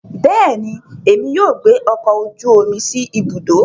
Bẹẹni, Èmi yóò gbé ọkọ ojú omí sí ibùdó